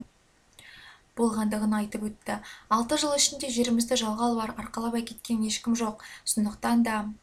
болғандығын айтып өтті алты жыл ішінде жерімізді жалға алып арқалап әкеткен ешкім жоқ сондықтан да